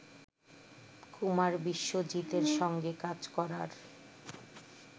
কুমার বিশ্বজিতের সঙ্গে কাজ করার